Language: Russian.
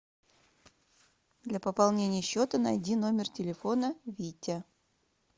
для пополнения счета найди номер телефона витя